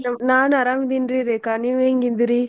ನಾನ್ ಆರಾಮಿದೀನ್ರಿ ರೇಖಾ ನೀವ್ ಹೆಂಗಿದಿರಿ?